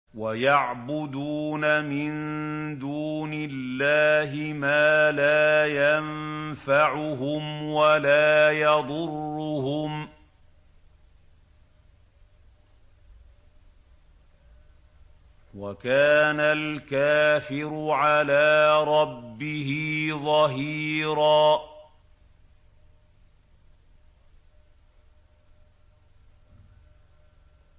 وَيَعْبُدُونَ مِن دُونِ اللَّهِ مَا لَا يَنفَعُهُمْ وَلَا يَضُرُّهُمْ ۗ وَكَانَ الْكَافِرُ عَلَىٰ رَبِّهِ ظَهِيرًا